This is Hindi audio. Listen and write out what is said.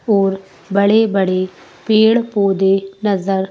बड़े बड़े पेड़ पौधे नजर--